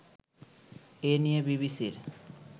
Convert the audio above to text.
এ নিয়ে বিবিসির